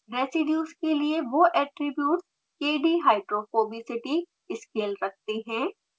residues के लिए वो ऐट्रिब्यूट्स kdhydrophobicity scale रखते हैं